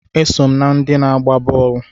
Eso m na ndị na-agba bọọlụ